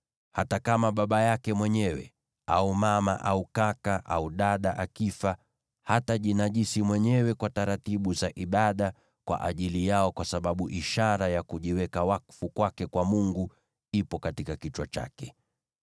Hata kama baba yake mwenyewe au mama au kaka au dada akifa, hatajinajisi mwenyewe kwa taratibu za ibada kwa ajili yao, kwa sababu ishara ya kujiweka wakfu kwake kwa Mungu ipo katika kichwa chake.